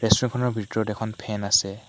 Restaurant খনৰ ভিতৰত এখন ফেন আছে।